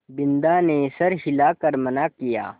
बिन्दा ने सर हिला कर मना किया